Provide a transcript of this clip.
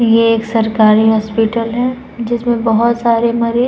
ये एक सरकारी हॉस्पिटल है। जिसमे बहुत सारे मरीज --